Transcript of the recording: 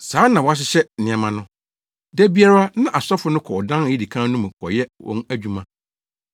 Saa na wɔahyehyɛ nneɛma no. Da biara na asɔfo no kɔ ɔdan a edi kan no mu kɔyɛ wɔn adwuma;